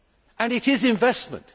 And it is investment.